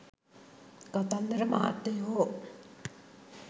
කතන්දර මහත්තයෝ